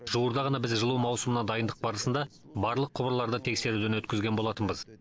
жуырда ғана біз жылу маусымына дайындық барысында барлық құбырларды тексеруден өткізген болатынбыз